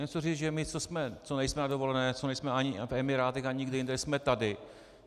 Chci říci, že my, co nejsme na dovolené, co nejsme ani v Emirátech ani někde jinde, jsme tady.